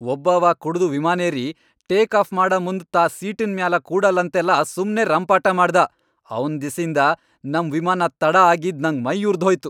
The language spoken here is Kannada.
ಒಬ್ಬವಾ ಕುಡದು ವಿಮಾನೇರಿ, ಟೇಕ್ ಆಫ್ ಮಾಡಮುಂದ್ ತಾ ಸೀಟಿನ್ ಮ್ಯಾಲ ಕೂಡಲ್ಲಂತೆಲ್ಲಾ ಸುಮ್ನೆ ರಂಪಾಟ ಮಾಡ್ದಾ, ಅವ್ನ್ ದೆಸಿಂದ ನಮ್ ವಿಮಾನ ತಡ ಆಗಿದ್ ನಂಗ್ ಮೈಯುರದ್ಹೋಯ್ತು.